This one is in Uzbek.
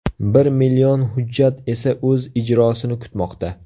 Bir million hujjat esa o‘z ijrosini kutmoqda.